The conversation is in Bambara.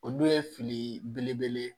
Olu ye fili belebele